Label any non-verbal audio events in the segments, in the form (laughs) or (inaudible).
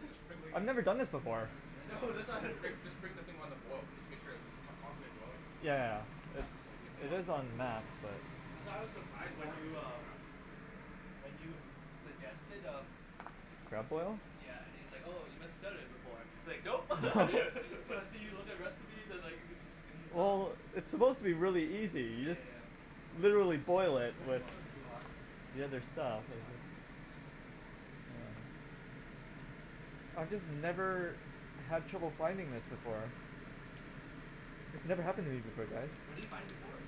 (inaudible) Just bring I've never done this before. I (noise) know. that's why (laughs) Rick, just bring the thing on the boil. Just make sure that it, con- constantly boiling. Yeah. It's, (inaudible) keep it on is on max, but That's why I was The surprised corn when will you cook real uh fast. When you suggested, uh Crab boil? Yeah, and he's like, "Oh you must have done it before." He's like, "Nope." (laughs) (laughs) I see you with the recipes. I was, like, in the Sub. Well, it's supposed to be really easy. You Yeah, yeah, just yeah. literally boil it with, Wow, (laughs) too hot. the other stuff. It's hot. I just never had trouble finding this before. This never happened to me before, guys. Where did you find it before?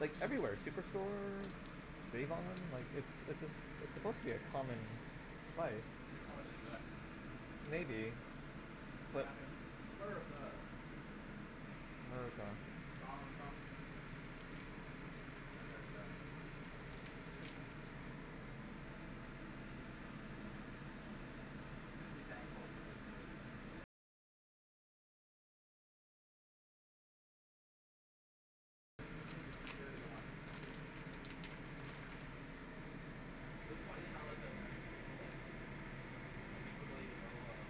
Like everywhere. Superstore? save-on? Like, it's, it's a, it's supposed to be a common spice. Maybe common in the US. Maybe. Cuz they But have everything. America. America. Donald Trump. That guy's uh, coo coo for Coco Puffs. Mhm. (laughs) Just be thankful we live here. (laughs) Clearly they want to instigate it. It was funny how like the American people, like, some people don't even know uh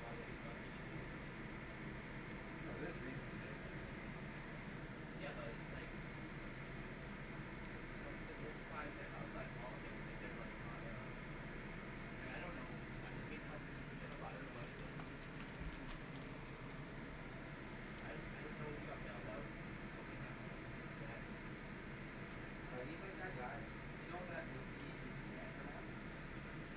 why they hate Trump. They just hate Trump. No, there's reasons to hate that guy. Yeah, but it's like It's some- it's most of the time it's, like, outside politics if they're, like, not uh Like I don't know, I just hate Trump and they, but I don't know what he did, right? I, I just know he got bailed out so many time from, from his dad. Uh he's like that guy. You know that movie, The Anchorman?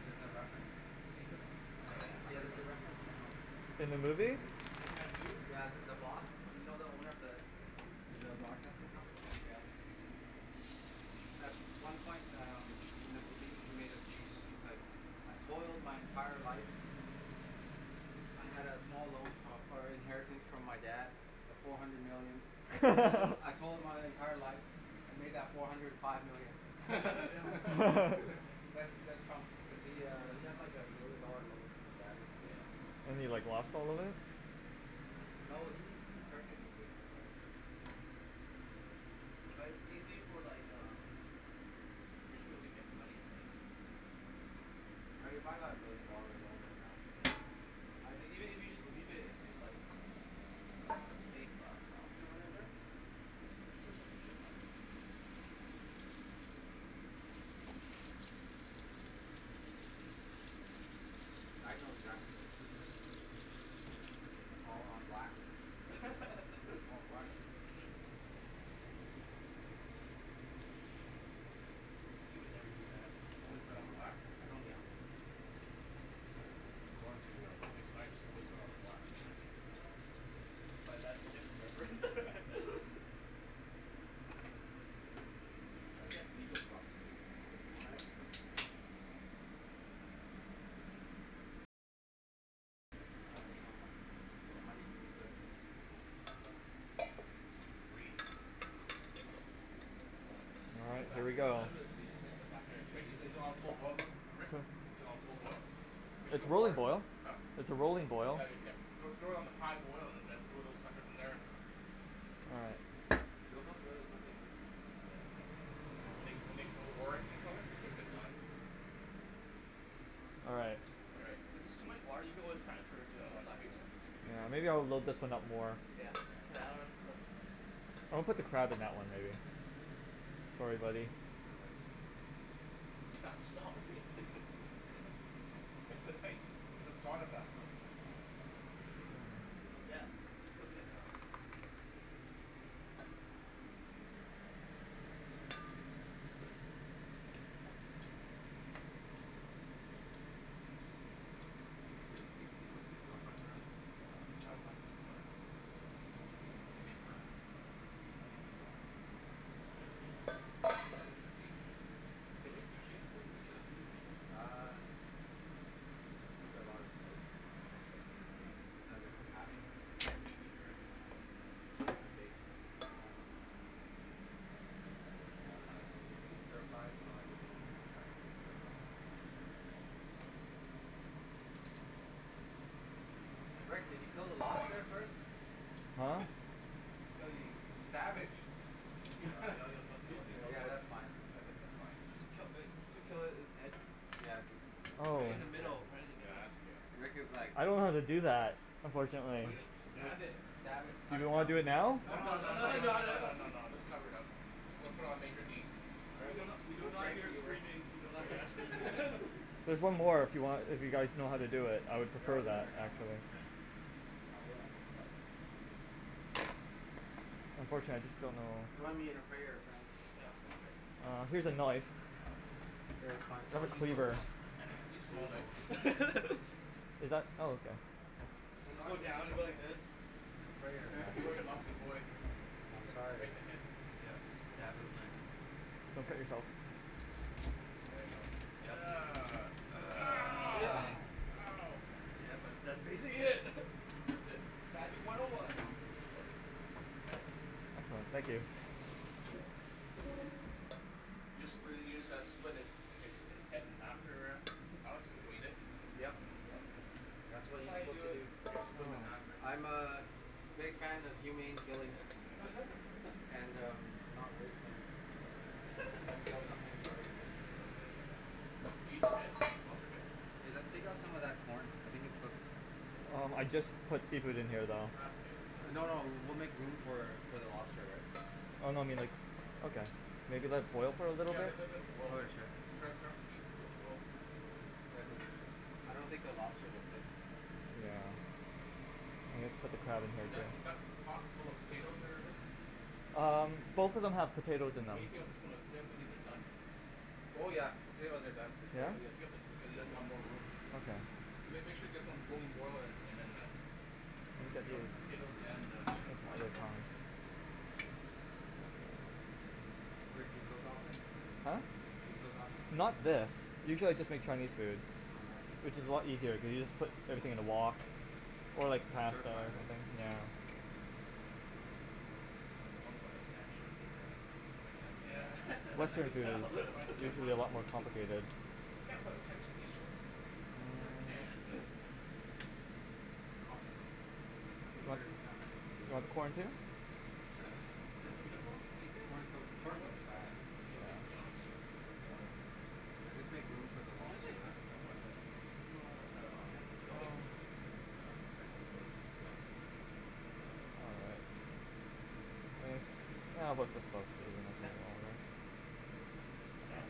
There's a reference. Anchorman? Uh Oh yeah. I yeah. heard There's about a it. reference to Trump. In the In the movie? movie. Anchorman two? Yeah, the, the boss. You know the owner of the, of the broadcasting company? Yeah. At one point um, in the movie, he made a speech. He's like, "I told my entire life. I had a small loan fro- or inheritance from my dad of four hundred million. I told, (laughs) I told my entire life and made that four hundred five million." (laughs) (laughs) That's, that's Trump cuz he uh he had like a million dollar loan from his dad or something. Yeah. And he, like, lost all of it? Yeah. No, he, he turned it into an empire though. Mhm. Like it's easy for, like, uh rich people to make money, right? Mhm. Like if I got a million dollar loan right now Yeah. (inaudible) I'd Like, even if you just leave it into like s- uh safe uh stocks or whatever, you s- you still make a shit ton. I'd know exactly what to do with it. Mhm. All on black. (laughs) All on black. He would never do that. Always No. bet on black? I don't gamble. According to uh, Wesley Snipes, always bet on black. But that's a different reference. (laughs) I heard he had legal problems too. Wesley W- Snipes? Wesley Snipes. Uh, you know money things, money Hm? does things to people. Greed. Yeah. All right. Here we go. Good. Rick, is it, is it on full (inaudible) boil, Li- Rick? (noise) Is it on full boil? Make sure the It's roller water- boil. huh? It's a rolling boil. Yeah, Rick, yeah. Throw, throw it on high boil and then throw those suckers in there. All right. They'll cook really quickly too. Yeah. Yeah, when they g- when they go orange in colour, they're, they're, they're done. All right. All right. If it's too much water, you can always transfer it to, No, no, (inaudible) it should right? be, it should, it should be Yeah, good. maybe I'll load this one up more. Yeah. Yeah, Yeah. that one looks I'll put the crab in that one, maybe. Okay. Sorry, buddy. Sorry, buddy. You're not sorry. (laughs) (laughs) It's a nice, it's a sauna bathroom. Till death. Till death. (laughs) Yeah. Do you cook your, do you, do you cook for your girlfriend at her house? Yeah, all the time. Oh yeah. Yeah. What do you make for her? Anything she wants. What? (noise) What, what does she like to eat usually? Can you eat sushi? What, what does she like to eat usually? Um. I make her a lot of steak. Oh she likes, like, Yeah. steaks? Sometimes I do pasta. Meat eater, eh? Um. I bake. Sometimes. Hm. Uh and (noise) we do stir fries, you know everything can be Oh turned into a yeah. stir fry. Rick, did you kill the lobster first? Huh? (laughs) Ew, you, you savage. (laughs) Yeah. Ye- Yeah, it'll, it'll, it'll kill, it'll kill yeah, it that's fine. Yeah, that's, that's fine. Supposed to kill uh are you suppose to kill it, its head? Yeah, Oh. Right in the just (inaudible) middle, right in the middle. Rick was (inaudible) like I don't know how to do that, Or unfortunately. Or just, just you know, stab it. stab it. Do Cut you it wanna down. do it now? No, No, no, no, no, no, too no, No, late. no, no, no, no. no, no, just cover it up. Put it, put it on major heat. All We right. do We'll, not, we do we'll not pray for hear you Rick. screaming, we do We'll not pray, yeah hear screaming. (laughs) (laughs) There's one more if you want, if you guys know how to do it. I would Yeah, I'll prefer do it that, right now. actually. (noise) Yeah, we'll end its life. Unfortunately, I just don't know Join me in a prayer, friends. Yeah. Okay. Uh, here's a knife. Okay, fine. I'll use (inaudible) (laughs) Is that? Oh okay. Or just go Join me now (inaudible) down, you go like this. in a prayer, friends. Sorry, lobster boy. I'm Right sorry. in the head. Yeah. Stab him. Don't cut yourself. There you go. Ugh. Ow. (noise) Ow. Yeah, but that's basically it. (laughs) That's it. Stabbing one oh one. (laughs) Oh, thank you. You just split it, you just uh split its, hi- hi- his head in half there, uh Alex? Is what you did? Yep. Yes. That's what That's you're how you supposed do to it, do. that's how You you do split it. him in half, Oh. right? I'm a big fan of humane killing. (laughs) And um, not wasting meats. You (laughs) kill something, you better eat it. Yeah, yeah, yeah, yeah. Do you eat the head? The lobster head? Hey, let's take out some of that corn. I think it's cooked. Oh, I just put seafood in here, though. Ah, it's okay. Just let it No, boil. no. We'll make room for, for the lobster, right? Oh no, I mean like, okay. Maybe let it boil for a little Yeah, bit? let- let- let it boil. Okay, sure. Turn up, turn up the heat, let it boil. Yeah, cuz uh, I don't think the lobster will fit. Yeah. (inaudible) just put the crab in here, Is that, is that too. pot full of potatoes there, Rick? Um, both of them have Why potatoes in them. don't you take out the, some of the potatoes? I think they're done. Oh yeah. Potatoes are done for sure. Yeah? Yeah, yeah, take out the, cuz you'll ha- you'll have more room. Okay. So make, make sure you get some rolling boil and, and then uh, take out the potatoes and uh, and the corn. Rick, do you cook often? Huh? Do you cook often? Not this. Usually I just make Chinese food. Oh nice. Which is a lot easier, you can just put everything in a wok. Or, And like, stir pasta fry, or something. right? Yeah. I wanna buy the Stan shorts there, uh but I can't find Yeah. them. (laughs) I Western can food tell. Can't find, is can't usually a find them. lot more (laughs) complicated. Can't play with tennis in these shorts. (laughs) I can, (noise) but. (laughs) Cotton though. I don't think there's that many You potatoes. want corn, too? Sure. (noise) Does Uniqlo make it? Corn cook, Do you know corn what cooks No, fast. brand? no, Ye- it's Yonex shorts, right? Oh okay. Yeah, just make room for the I'm sure they lobster, yeah? have it somewhere but, you, you don't know what the Well, it's, (inaudible) and they don't make it no more because it's uh French Open two thousand whatever, right? Oh. Is that (noise) Did Stan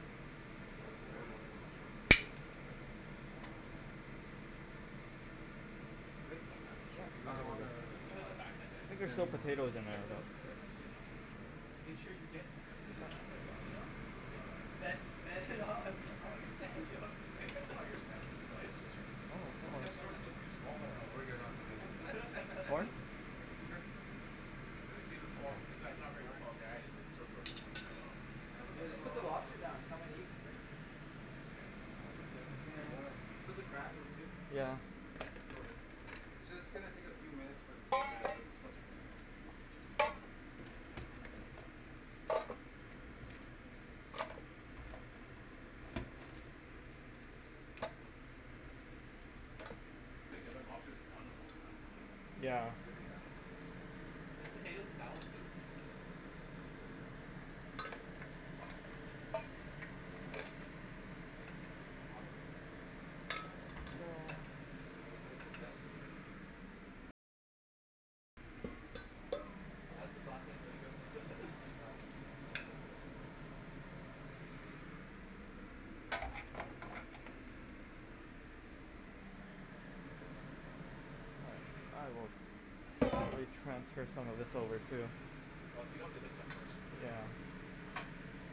Uh Wore, wear it wore those, on wore those uh short to win his French Open. Oh okay. So. Good? Wes has those shorts. You got all the s- (inaudible) a back hand guy. I think is there's there still anymore? potatoes in there as well. (inaudible) Let's see. Make sure you get uh good enough to beat him and then No, uh, he's too bet, good. bet him on all your Stan shorts. All your Sta- (laughs) no, his shorts are too small. His Oh. shorts look too (laughs) small on. (inaudible) No, (laughs) we're good on potatoes. Corn? (laughs) Yeah. Sure. Cuz, cuz he's a small, he's not, not a very tall guy and his short, shorts look, look tight on him. Yeah, just Oh put the lobster (laughs) down. Come and eat, Rick. Yeah. Yeah, it's gonna boil. Put the crab in too. Yeah. (inaudible) It's just gonna take a few minutes for the Yeah, seafood. the, the, the spuds are done. (noise) (noise) Think the other lobster's done almost, man. Yeah. Should be done. Soon. There's potatoes in that one too? (noise) Ooh. Hot. No. Oh good suggestion, Rick. That's his last name, there you Oh go. (laughs) his last name. (inaudible) (laughs) (inaudible) transfer some of this over, too. Well, take out the other stuff first, Rick.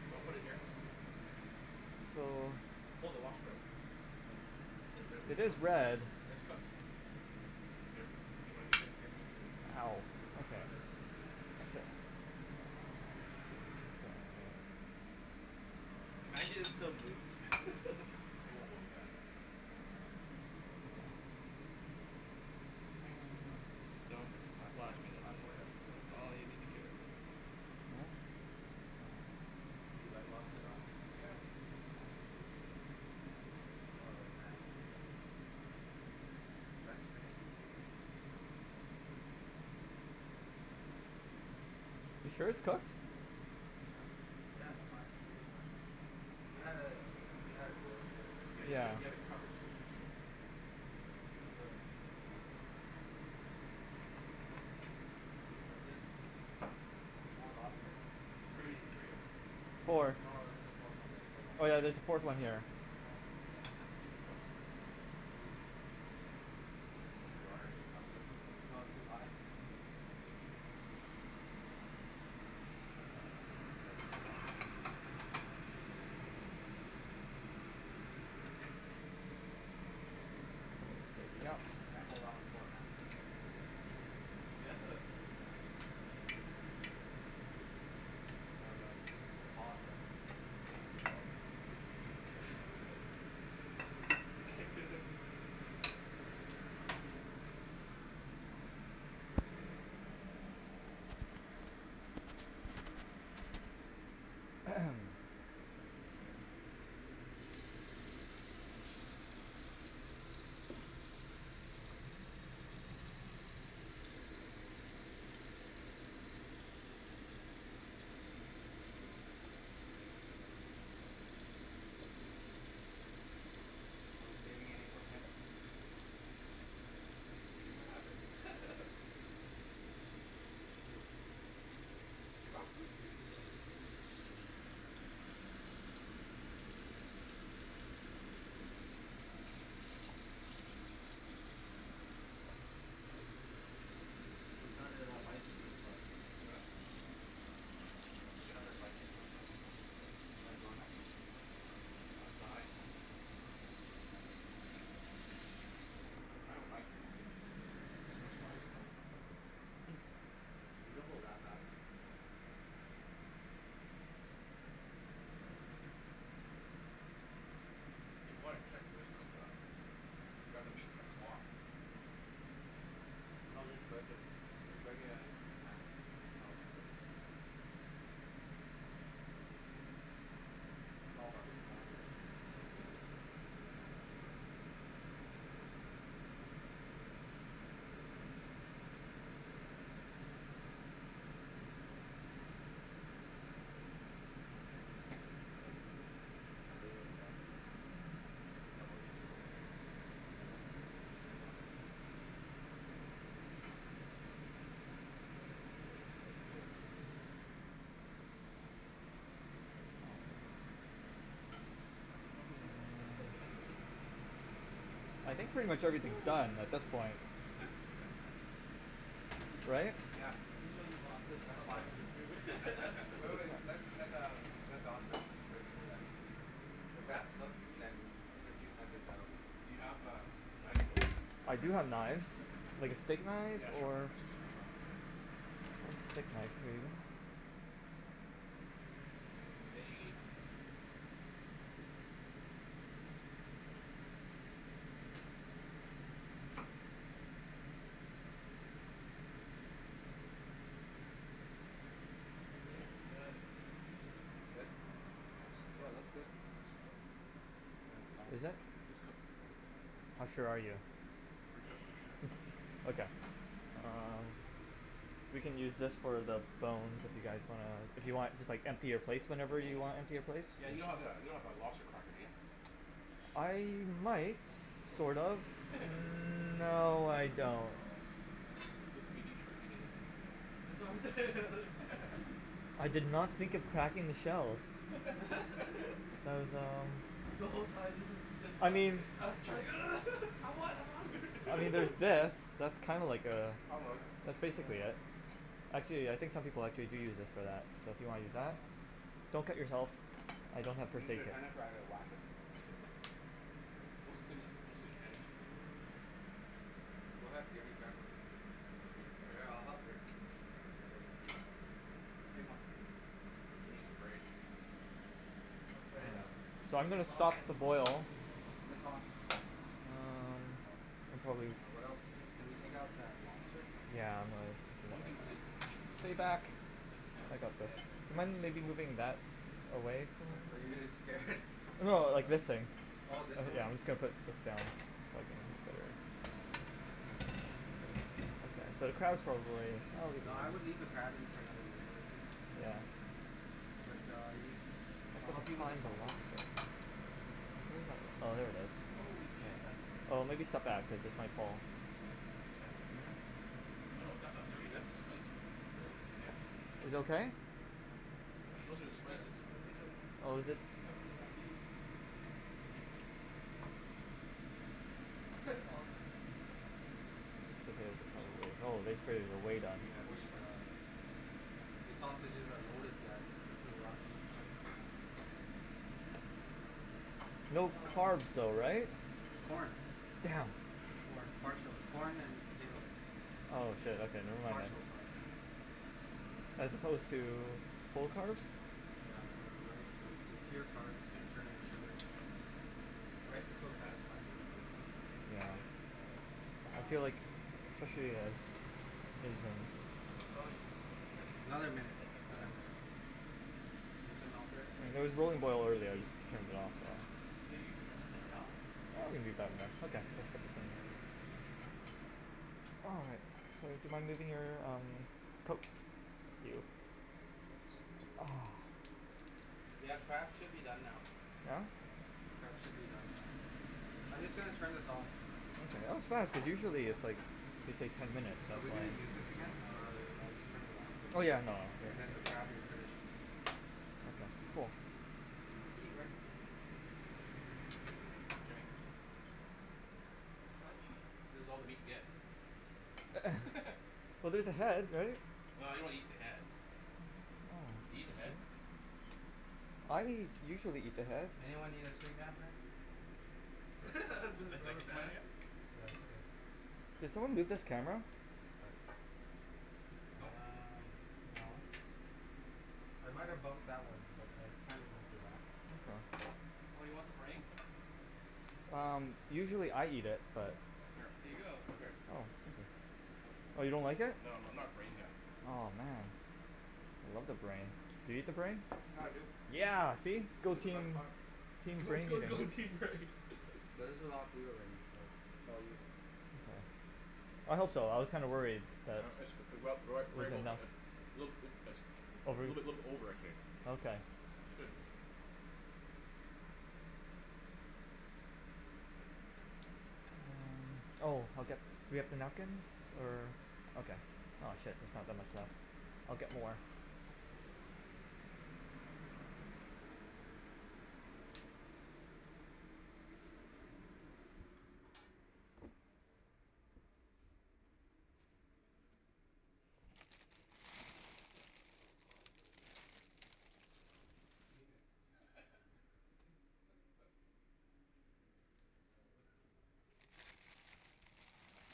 You wanna put it in here? So Pull the lobster out. Yeah. They're good, they're It is cooked. red. It's cooked. Hey, Rick. Do you? (inaudible) (inaudible) Can Ow. you give up, Okay. brother? Uh huh. Imagine it still moves. (laughs) It won't move, man. I think it should be done. It's been in Don't there for five, splash ten, me up five, there. Oh yeah. seven That's minutes. all you need to care about. More? Do you like lobster, Don? Yeah. All seafood. I'm more of a fan of shrimp. Less finicky to eat, Yeah. so. You sure it's cooked? Think it's cooked? Yeah, it's fine. Should be fine. Should be fine. You had it, you had it boiling quite a bit. Yeah, you had, you Yeah. had, you had it covered too, so. (inaudible) the Oh. Oh. I was thinking about this part here. Oh, four lobsters? Three Three. there. No, Four. no, there's there a fourth one there. So one Oh l- yeah, there's a fourth one here. Oh yeah, Looks pretty I cooked. think He's, Wanna do the honors? he's suffered. No, it's too hot. Yeah. Is it too hot? Oh. Yeah. It's too hot. I'll eat corn. Can't Yep. go wrong with corn, man. Mhm. Do we have uh something to crack it, by the way? The um, the claws, right? Yeah. No. We use your teeth. (laughs) Potato. (noise) Are we saving any for Kim? We'll see what happens. Hm. (laughs) That's true. She bought food too, so. Hm? We started a bicycling club. Huh? Who We did? started a bicycling club. You wanna join us? Uh, I'd die. I have a bike though. Specialized (inaudible) Mhm. We don't go that fast. Oh. If you wanna check if it's cooked or not Grab the meat from the claw. No, just break it. Just break it uh in half. You Mm. can tell if it's cooked. I'm all about the corn though. Mhm. Oh. Potato's hot. Could you grab? (inaudible) (noise) (inaudible) Do the honors. Oh it's hot. (inaudible) Have some rubberband. (laughs) I think pretty much everything's done at (noise) this point. Wee. Right. Yeah. This is when your mom says, That's "Stop fine. playing with your food." (laughs) Wait, wait. Let, let um, let Don break, break into that and see. If Wreck? that's cooked, You mean? then in a few seconds that will be Do cooked. you have a knife there, I do Rick? have knives. Like a steak knife? Yeah, a sharp knife, Or? a sh- sh- sharp one. I'm gonna cut this right, right in half, I think. Yeah. Nice. It may, it may Good. Good? Yeah, it's Yeah, it looks cooked. good. It's cooked. Yeah, it's fine. It's cooked. Yeah, How it's cooked. sure are you? Pretty cooked for sure. (laughs) Okay. Um You can use this for the bones if you guys wanna, if you want, just, like, empty your plate whenever you wanna empty your plates. Yeah, Yeah, you you don't don't have have that, a Oh. don't have a lobster cracker, do you? I might, Oh. sort of. (laughs) Mm- That's, no, I don't. oh. That's wha- this will be neat trick eating this thing here, That's guys. what I'm saying. (laughs) I did not think of cracking the shells. (laughs) (laughs) There's um The whole time this is just I us. mean Us trying, "Ugh. (laughs) I want, I want." (laughs) I mean there's this. That's kinda like uh, That'll work. that's Oh basically yeah. it. Actually, yeah, I think some people, like, they do use this for that, so if you wanna use that? Oh. Don't cut yourself. I don't have first Use aid your kits. tennis racket, wack it. (laughs) Most of the thing that's, mostly. (inaudible) Go ahead, Jimmy, grab one. All right, I'll help Rick. (inaudible) you get everything else up. Take one. Jimmy's afraid. I'm afraid um, it's So I'm freaking gonna stop hot. the boil. It's hot. It's hot. Um. Can probably Uh, what else. Can we take out that lobster? Yeah, I'm The gonna only thing to really eat is this thing and this thing. That's it. You can't Mhm. really eat the head, well, unless you want to eat the head. Yeah. Are you scared? (inaudible) (laughs) No, like, this thing. All of this away? Yeah, I'm just gonna put this down so I don't have to (inaudible) So, the crab is probably, No, oh I would leave the crab in for another minute or two. Yeah. But uh you, I'll help you with the sausages. Oh, there it is. Holy shit. That's dirty. Oh, maybe step What? back because this might fall. Yeah. No, no, that's not dirty, that's the spices. Really? Yeah Is it okay? I Those don't are the think that, spices. I don' think that, Oh, is it? peppers are that huge. That's all the juices coming out. Oh, this. (inaudible) eat (inaudible) pretty Yeah, coarse these spices uh here. These sausages are loaded guys. This is a lot of food. (inaudible) No Ah (noise) carbs though, right? Corn. Damn. Corn, parts of corn and potatoes. Oh shit okay never mind then. Partial carbs. (noise) As opposed to, full carbs? Yeah uh rice is just pure carbs This is interesting, and (inaudible) eating sugar. this. Rice is so Look at this (inaudible) (inaudible) satisfying to eat take though. a knife, or the other thing, (noise) Yeah, Um. I feel like, scissors. especially as This isn't clean enough. (inaudible) No Oh no, you, are you cutting, you Another I'm gonna, you minute, said I'm use another gonna that do this. minute. right? You need some help there? It was really boiling over there so I just turned it off so Do you usually cut off the head off? (inaudible) Yeah, okay, yeah, we let's usually cut focus the head on off. Okay. the Wow. Hey, do you mind moving your um, coke, thank you Ah. Yeah, the crab should be done now. Yeah? The crab should be done now. I'm just going to turn this off. (inaudible) That was fast, cuz usually it's like it's like ten minutes. Are we going to use this again? Or I'll just turn it off, Oh and, yeah nah. and then the crab will finish. Okay, cool. Holy See Rick shit. Jimmy. (noise) This is all the meat he gets. (noise) Well there's the head right? Well I don't eat the head. Do you eat the head? I usually eat the head. Anyone need extra napkin? (noise) (laughs) (inaudible) (inaudible) Yeah it's okay. Did someone move this camera? Nope. Uh No. no. I might have bumped that one but I kind of moved it back. Oh you want the brain? Um usually I eat it but Here. Here you go! Come here. Oh. Oh you don't like it? No I'm not brain guy. Aw man. I love the brain. Do you eat the brain? Yeah dude. Yeah! See? Go It's the best team. part. Team Go brain here. team go team brain. But this is a (laughs) lot of food already, so it's all you. I hope so, I was kinda worried (inaudible) that a it wasn't enough. little bit a little over I'd say. Okay. It's good. Oh okay. Do we have the napkins? Or. Okay. Aw shit, there's not that much left. I'll get more. S- still too hot. What is, this looks like (inaudible) A penis? (noise) (laughs) (inaudible)